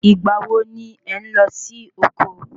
Igbà wo ni ẹ n lọ sí oko?